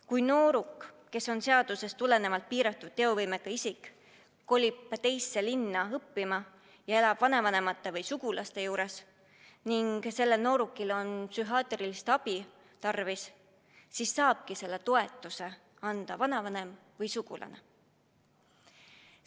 Kui nooruk, kes on seaduse järgi piiratud teovõimega isik, kolib teise linna õppima ja elab vanavanemate või muude sugulaste juures ning vajab psühhiaatrilist abi, siis saabki selle toetuse anda vanavanem või sugulane.